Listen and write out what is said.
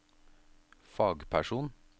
fagperson